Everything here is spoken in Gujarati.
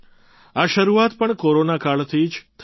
આ શરૂઆત પણ કોરોના કાળથી જ થઈ છે